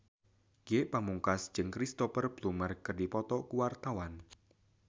Ge Pamungkas jeung Cristhoper Plumer keur dipoto ku wartawan